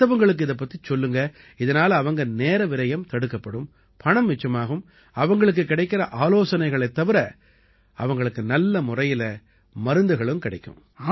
மத்தவங்களுக்கு இதுபத்திச் சொல்லுங்க இதனால அவங்க நேரவிரயம் தடுக்கப்படும் பணம் மிச்சமாகும் அவங்களுக்குக் கிடைக்கற ஆலோசனைகளைத் தவிர அவங்களுக்கு நல்ல முறையில மருந்துகளும் கிடைக்கும்